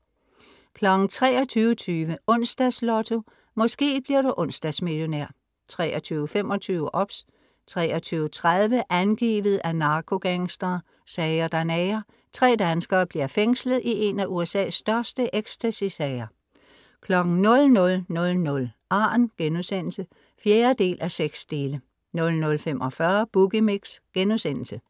23:20 Onsdags Lotto. Måske bliver du onsdagsmillionær 23:25 OBS 23:30 Angivet af narkogangstere. Sager der nager. Tre danskere bliver fængslet i en af USA's største ecstasy-sager 00:00 Arn* (4:6) 00:45 Boogie Mix*